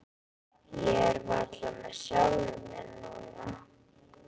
Ég er varla með sjálfum mér núna.